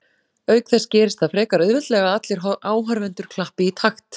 Auk þess gerist það frekar auðveldlega að allir áhorfendur klappi í takt.